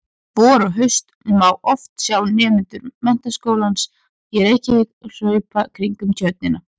Vor og haust má oft sjá nemendur Menntaskólans í Reykjavík hlaupa kringum Tjörnina.